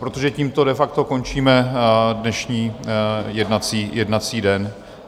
Protože tímto de facto končíme dnešní jednací den.